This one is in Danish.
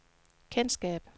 kendskab